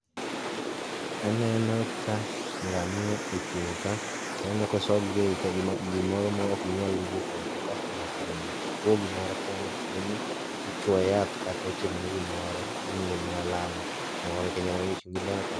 aneno ka ngamia ochung' ka kendo aneno kosogie gimoro ma ok ginyal wuok oko kendo aneno ka ng'ato bende chuo gimoro nyaka bed ni ichuoye yath kata itimo ne gimoro imiyone alama